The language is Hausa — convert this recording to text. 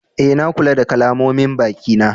Eh, na kula da kalamomin baki na.